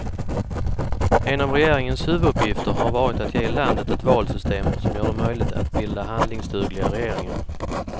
En av regeringens huvuduppgifter har varit att ge landet ett valsystem som gör det möjligt att bilda handlingsdugliga regeringar.